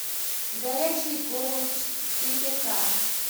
горячие головы четыре ка